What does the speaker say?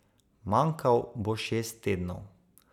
Manjkal bo šest tednov.